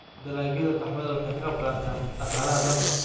Dalagyada qaxwada waxay ka qaybqaataan dhaqaalaha dalka.